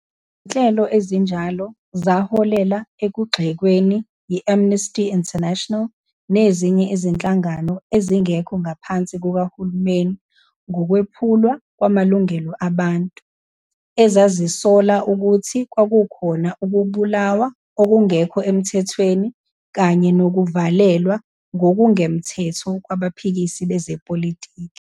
Izinhlelo ezinjalo zaholela ekugxekweni yi-Amnesty International nezinye izinhlangano ezingekho ngaphansi kukahulumeni ngokwephulwa kwamalungelo abantu, ezazisola ukuthi kwakukhona ukubulawa okungekho emthethweni kanye nokuvalelwa ngokungemthetho kwabaphikisi bezepolitiki.